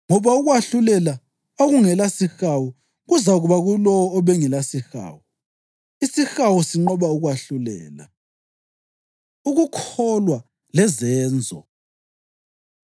ngoba ukwahlulela okungelasihawu kuzakuba kulowo obengelasihawu. Isihawu sinqoba ukwahlulela! Ukukholwa Lezenzo